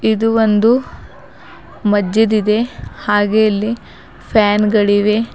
ಇದು ಒಂದು ಮಜ್ಜಿದ್ ಇದೆ ಹಾಗೆ ಇಲ್ಲಿ ಫ್ಯಾನ್ ಗಳಿವೆ.